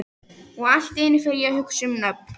Og allt í einu fer ég að hugsa um nöfn.